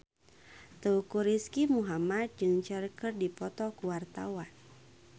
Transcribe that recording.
Teuku Rizky Muhammad jeung Cher keur dipoto ku wartawan